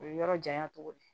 O ye yɔrɔ janya cogo de ye